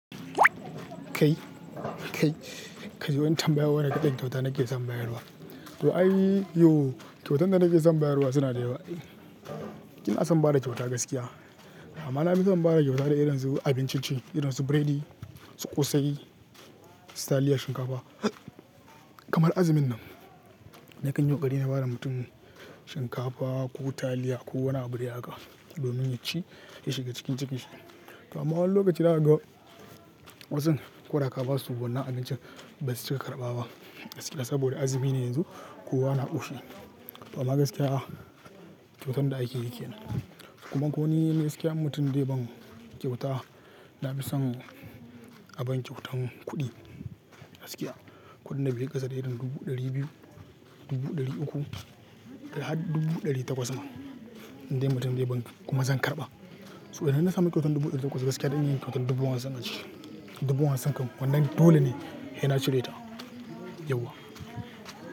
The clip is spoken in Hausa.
Kai, kai, kaji wani tambaya wani irin kyauta nake son bayarwa. To ai yo kyautan da nake son bayarwa suna da yawa. Ina son bada kyauta gaskiya. Amma na fi son bada kyauta da irin su abincin ci, irin su buredi, su ƙosai, su taliya, shinkafa kamar azumin nan. Nakan yi ƙoƙari na bada mutum shinkafa ko taliya ko wani abu da ya haka domin ya ci ya shiga cikin cikin shi. To amma wani lokaci zakaga wasun ko da ka ba su wannan abincin ba su cika karɓaba gaskiya saboda azumi ne yanzu kowa na ƙoshi. To amma gaskiya kyautan da ake yike yana. Kuma ko ni gaskiya in mutum dai ban kyauta na fi son a ban kyautan kuɗi gaskiya. Kuɗin da beyi ƙasa da irin dubu ɗari biyu, dubu ɗari uku da har dubu ɗari takwas ma indai mutum dai ban kuma zan karɓa. So idan ina samun kyautan dubu ɗari takwas gaskiya zan yi kyautan dubu hamsin a ciki dubu hamsin kam wannan dole ne ya saina ci reta, yauwa.